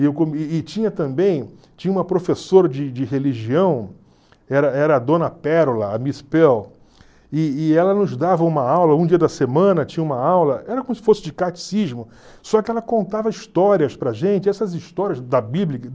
e tinha também, tinha uma professora de de religião, era era a dona Pérola, a Miss Pearl, e e ela nos dava uma aula, um dia da semana tinha uma aula, era como se fosse de catecismo, só que ela contava histórias para gente, e essas histórias da Bíblia